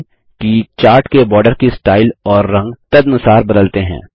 ध्यान दें कि चार्ट के बार्डर की स्टाइल और रंग तदनुसार बदलते हैं